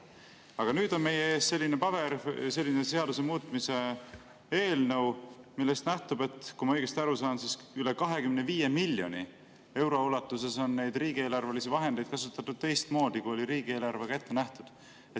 Aga nüüd on meie ees selline paber, selline seaduse muutmise eelnõu, millest nähtub, kui ma õigesti aru saan, et üle 25 miljoni euro ulatuses on riigieelarvelisi vahendeid kasutatud teistmoodi, kui oli riigieelarvega ette nähtud.